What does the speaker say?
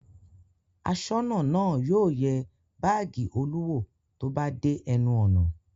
Aṣọ́nà náà yóò yẹ báágì Olú wò tó bá dé ẹnu ọ̀nà.